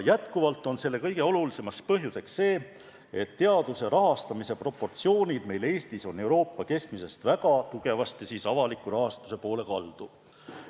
Jätkuvalt on kõige olulisem põhjus see, et teaduse rahastamise proportsioonid meil Eestis on Euroopa keskmisest väga tugevasti avaliku sektori rahastuse poole kaldu.